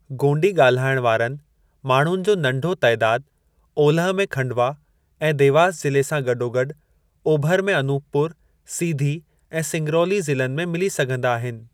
गोंडी ॻाल्हाइण वारनि माण्हुनि जो नंढो तइदाद ओलह में खंडवा ऐं देवास जिले सां गॾोगॾु ओभर में अनूपपुर, सीधी ऐं सिंगरौली ज़िलनि में मिली सघंदा आहिनि।